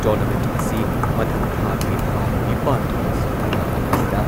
tournament ꯑꯁꯤ ꯃꯊꯪ ꯊꯥꯒꯤ ꯇꯔꯥꯅꯤꯄꯥꯟ ꯑꯃꯁꯨꯡ ꯇꯔꯥꯃꯥꯄꯟꯗ